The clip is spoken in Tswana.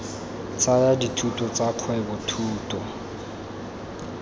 tsaya dithuto tsa kgwebo thuto